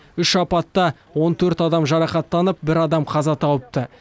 үш апатта он төрт адам жарақаттанып бір адам қаза тауыпты